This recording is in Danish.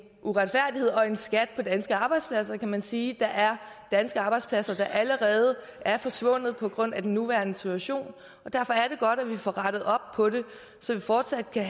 uretfærdighed og en skat på danske arbejdspladser kan man sige for der er danske arbejdspladser der allerede er forsvundet på grund af den nuværende situation derfor er det godt at vi får rettet op på det så vi fortsat kan